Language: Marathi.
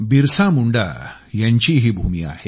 बिरसा मुंडा यांची ही भूमी आहे